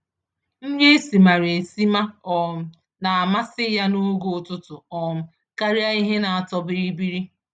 Nri esimara esima um na amasị ya n'oge ụtụtụ, um karịa ihe n'atọ bịrị-bịrị